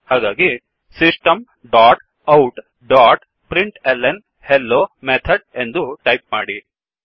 ಹಾಗಾಗಿ system dot out dot println hello method ಎಂದು type ಮಾಡಿ